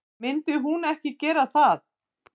Myndi hún ekki gera það?